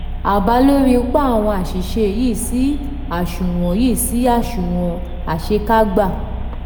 àbá lórí ipa àwọn aṣìṣe yìí sí aṣunwon yìí sí aṣunwon àṣekágba.